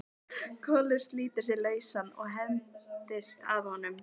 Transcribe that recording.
Kolur slítur sig lausan og hendist að honum.